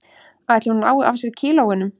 Ætli hún nái af sér kílóunum